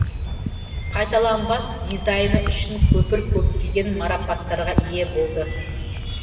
қайталанбас дизайны үшін көпір көптеген марапаттарға ие болды